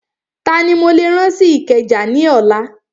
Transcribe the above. Tani mo lè rán lọ sí Ìkẹjà ní ọ̀la?